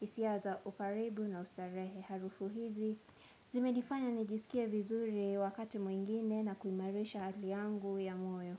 isia za ukaribu na ustarehe. Harufu hizi zimedifanya nijisikia vizuri wakati mwingine na kuimarisha aliangu ya moyo.